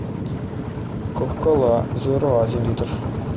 кока кола зеро один литр